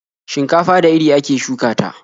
Shinkafa da iri ake shuka ta.